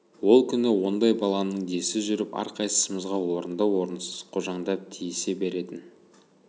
ол күні ондай баланың десі жүріп әрқайсымызға орынды-орынсыз қожаңдап тиісе беретін